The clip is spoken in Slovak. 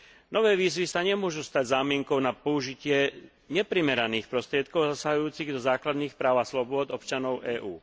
Nové výzvy sa nemôžu stať zámienkou na použitie neprimeraných prostriedkov zasahujúcich do základných práv a slobôd občanov EÚ.